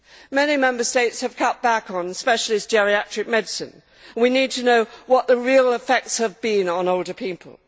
Many Member States have cut back on specialist geriatric medicine and we need to know what the real effects have been on older people.